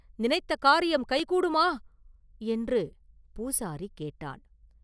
நினைத்த காரியம் கைகூடுமா?” என்று பூசாரி கேட்டான்.